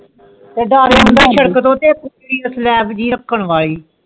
ਸਲਾਪ ਜੀ ਰਾਖਜਾਂ ਵਾਲੀ